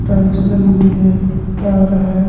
Tiles लगी हुई है तार है।